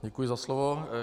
Děkuji za slovo.